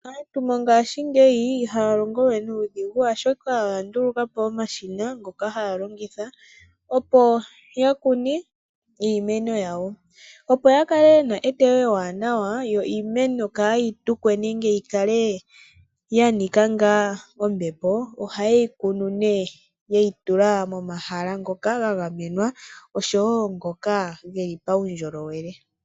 Aantu mongashingeyi ihaya longo we nuudhigu oshoka oya nduluka po omashina ngoka haya longitha opo ya kune iimeno yawo. Opo ya kale yena eteyo ewanawa, yo iimeno kayi tukwe nenge yi kale ya nika ngaa ombepo, oha ye yi kunu nee ye yi tula momahala ngoka ga gamenwa osho woo ngoka geli paundjolowele.